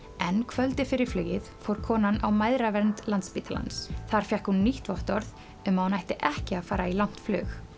en kvöldið fyrir flugið fór konan á mæðravernd Landspítalans þar fékk hún nýtt vottorð um að hún ætti ekki að fara í langt flug